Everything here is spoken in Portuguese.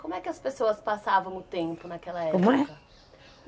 Como é que as pessoas passavam o tempo naquela época? Como é?